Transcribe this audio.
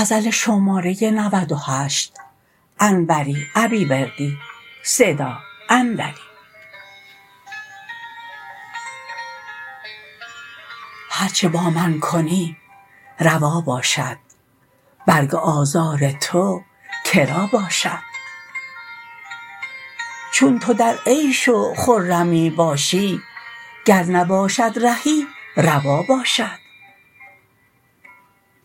هرچه با من کنی روا باشد برگ آزار تو کرا باشد چون تو در عیش و خرمی باشی گر نباشد رهی روا باشد